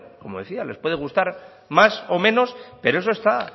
como decía les puede gustar más o menos pero eso está